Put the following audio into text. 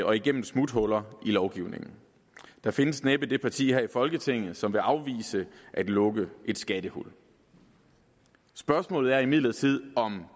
og igennem smuthuller i lovgivningen der findes næppe det parti her i folketinget som vil afvise at lukke et skattehul spørgsmålet er imidlertid om